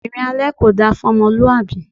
Ìrìn alẹ kò da fún ọmọlúwàbí.